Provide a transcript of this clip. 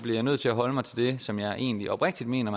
jeg nødt til at holde mig til det som jeg egentlig oprigtigt mener